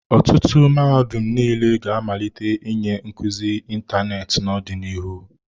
Ọtụtụ mahadum niile ga-amalite ịnye nkuzi ịntanetị n'ọdịnihu.